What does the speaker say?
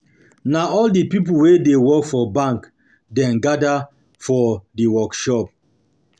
Na all di pipo wey dey work for bank dem gada for di workshop.